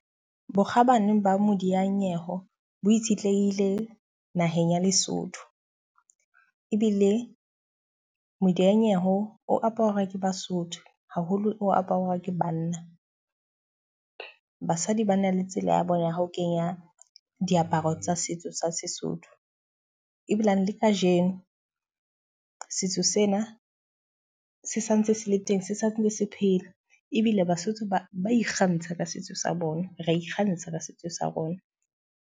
Bokgabane ba modiyanyeho bo itshetlehile naheng ya Lesotho. Ebile modiyanyewe o aparwa ke Basotho haholo o aparwa ke banna. Basadi ba na le tsela ya bona ha ho kenya diaparo tsa setso sa Sesotho. Ebilane le ka jeno, setso sena se santse se le teng se seng le se phela. Ebile Basotho ba ba ikgantsha ka setso sa bona, ra ikgantsha ka setso sa rona.